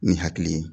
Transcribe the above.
Ni hakili ye